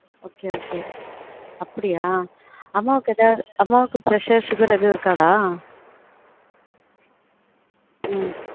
ம் ok ok அப்டியா அம்மாக்கு ஏதாவது அம்மாக்கு pressure sugar ஏதும் இருக்காடா